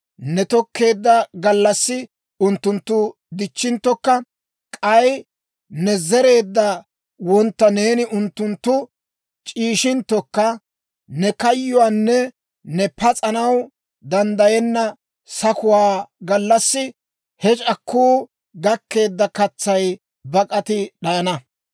ne tokkeedda gallassi unttunttu dic'c'inttokka, k'ay ne zereedda wontta ne unttuntta c'iishshissinttokka, ne kayyuwaanne ne pas'anaw danddayenna sakuwaa gallassi he c'akku gakkeedda katsay bak'ati d'ayana.